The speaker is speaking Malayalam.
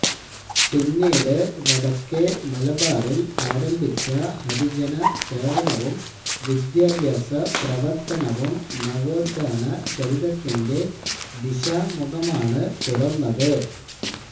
പിന്നീട് വടക്കേ മലബാറില് ആരംഭിച്ച ഹരിജന സേവനവും വിദ്യാഭ്യാസ പ്രവര്ത്തനവും നവോത്ഥാന ചരിതത്തിന്റെ ദിശാമുഖമാണ് തുറന്നത്